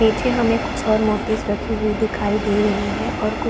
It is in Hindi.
पीछे हमें कुछ और मूर्तिस रखी हुई दिखाई दे रही है और कुछ --